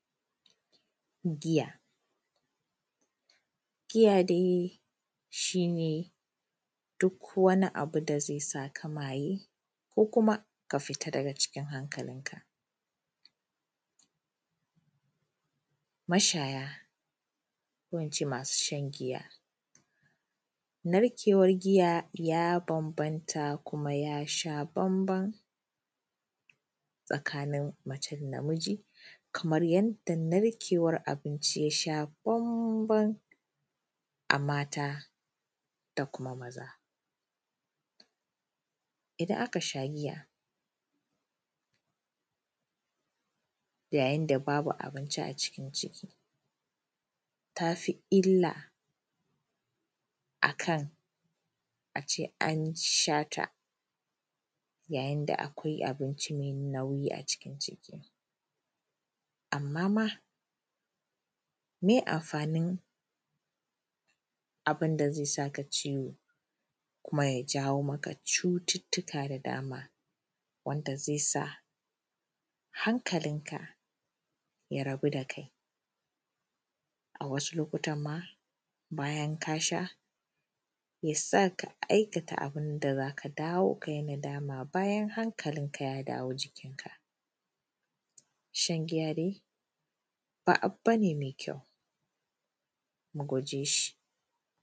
giya giya dai shine duk wani abu da zai sa ka maye ko kuma ka fita daga cikin hankalin ka mashaya ko ince masu shan giya, narkewan giya ya bambanta kuma ya sha bamban tsakanin mace da na miji kamar yadda narkewan abinci ya sha bamban a mata da kuma maza idan aka sha giya ya yin da babu abinci a ciki ta fi illa akan a ce an sha ta yayin da akwai abinci mai nauwi a cikin ciki amma ma meye amfanin abin da zai sa ka ciwo kuma ya yawo ma ka cututtuka da dama wanda zai sa hankalin ka ya rabu da kai A wasu lokutan ma bayan ka sha ya sa ka aikata abin da za ka dawo ka yi nadama bayan hankalinka ya dawo jikin ka shan giya dai ba abu ba ne mai kyau mu guje shan giya